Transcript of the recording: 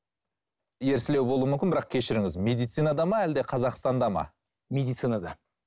ерсілеу болуы мүмкін бірақ кешіріңіз медицинада ма әлде қазақстанда ма медицинада